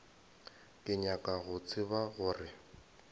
ke nyaka go tseba gore